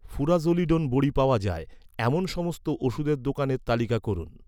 furazolidone বড়ি পাওয়া যায়, এমন সমস্ত ওষুধের দোকানের তালিকা করুন